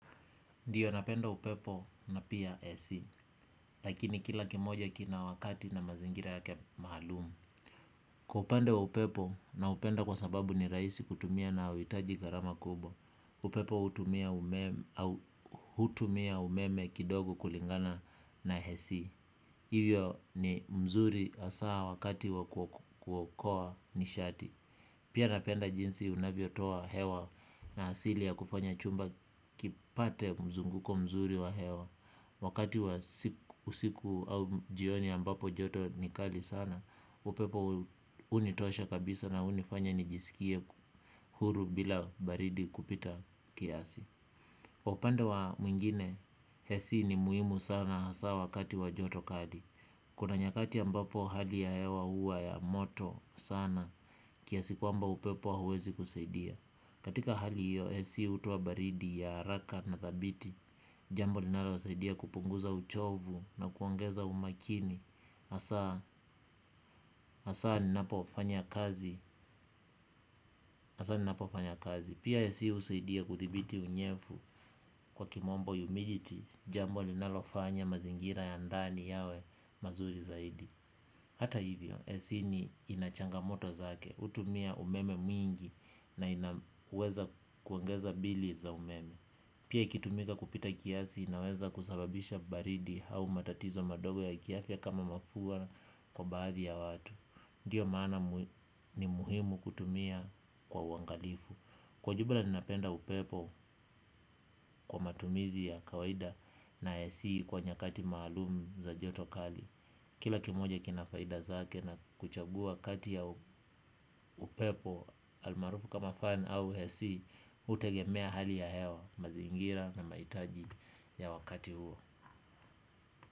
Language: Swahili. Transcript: Ndiyo napenda upepo na pia AC, lakini kila kimoja kina wakati na mazingira yake maalumu. Kwa upande wa upepo naupenda kwa sababu ni raisi kutumia na hauhitaji gharama kubwa. Upepo hutumia umeme kidogo kulingana na AC. Hivyo ni mzuri hasaa wakati wa kuokoa nishati. Pia napenda jinsi unavyotoa hewa na asili ya kufanya chumba kipate mzunguko mzuri wa hewa wakati wa usiku au jioni ambapo joto ni kali sana upepo hunitosha kabisa na hunifanya nijisikie huru bila baridi kupita kiasi kwa upande wa mwingine AC ni muhimu sana hasa wakati wa joto kali. Kuna nyakati ambapo hali ya hewa huwa ya moto sana kiasi kwamba upepo hauwezi kusaidia. Katika hali hiyo, AC hutoa baridi ya haraka na thabiti. Jambo linalosaidia kupunguza uchovu na kuongeza umakini hasa, hasa ninapofanya kazi. Pia AC husaidia kuthibiti unyevu kwa kimombo humidity. Jambo linalofanya mazingira ya ndani yawe mazuri zaidi. Hata hivyo, AC ni ina changamoto zake hutumia umeme mwingi na inaweza kuongeza bili za umeme. Pia ikitumika kupita kiasi inaweza kusababisha baridi au matatizo madogo ya kiafya kama mafua kwa baadhi ya watu. Ndiyo maana ni muhimu kutumia kwa uangalifu. Kwa jumla ninapenda upepo kwa matumizi ya kawaida na AC kwa nyakati maalumu za joto kali. Kila kimoja kina faida zake na kuchagua kati ya upepo almaarufu kama fan au AC hutegemea hali ya hewa mazingira na mahitaji ya wakati huo.